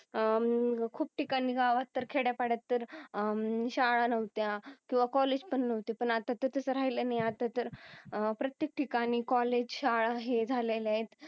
अह खूप ठिकाणी गावात तर खेड्यापाड्यात तर अह शाळा नव्हत्या किंवा कॉलेज पण नव्हते पण आता तर तस राहील नाही आता तर अह प्रत्येक ठिकाणी कॉलेज शाळा हे झालेल्यात